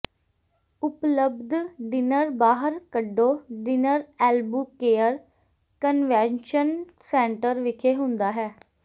ਉਪਲੱਬਧ ਡਿਨਰ ਬਾਹਰ ਕੱਢੋ ਡਿਨਰ ਐਲਬੂਕੇਅਰ ਕਨਵੈਨਸ਼ਨ ਸੈਂਟਰ ਵਿਖੇ ਹੁੰਦਾ ਹੈ